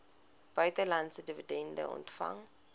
buitelandse dividende ontvang